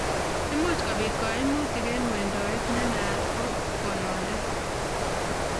Imucch kopit kaimutic eng' wendotet ne naat ko konondet